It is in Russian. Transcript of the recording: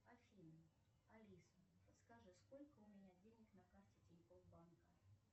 афина алиса подскажи сколько у меня денег на карте тинькофф банка